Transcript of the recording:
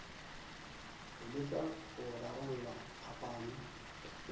go leka go rarolla phapano